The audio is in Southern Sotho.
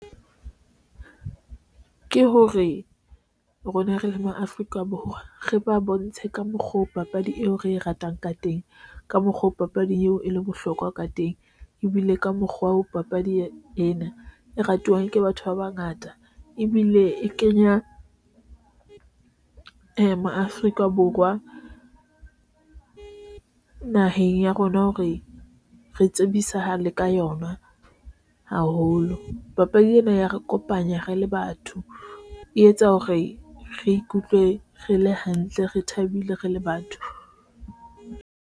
Ke hore, rona re le ma Afrika Borwa, re ba bontshe ka mokgoo papadi eo re e ratang ka teng, ka mokgwa oo papading eo e leng bohlokwa ka teng, ebile ka mokgwa wa ho papadi ena e ratuwang ke batho ba bangata, ebile e kenya ee maAfrika Borwa naheng ya rona hore re tsebisahale ka yona haholo. Papadi ena ya re kopanya, re le batho, e etsa hore re ikutlwe re le hantle, re thabile, re le batho.